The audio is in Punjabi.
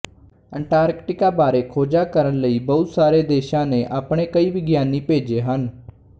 ਅੰਟਾਰਕਟਿਕਾ ਬਾਰੇ ਖੋਜਾਂ ਕਰਨ ਲਈ ਬਹੁਤ ਸਾਰੇ ਦੇਸ਼ਾਂ ਨੇ ਆਪਣੇ ਕਈ ਵਿਗਿਆਨੀ ਭੇਜੇ ਹਨ